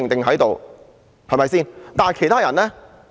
可是，其他人呢？